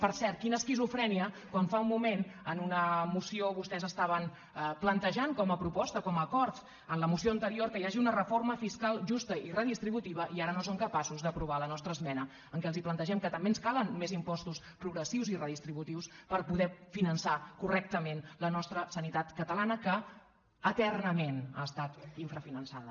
per cert quina esquizofrènia quan fa un moment en una moció vostès estaven plantejant com a proposta com a acord en la moció anterior que hi hagi una reforma fiscal justa i redistributiva i ara no són capaços d’aprovar la nostra esmena en què els plantegem que també ens calen més impostos progressius i redistributius per poder finançar correctament la nostra sanitat catalana que eternament ha estat infrafinançada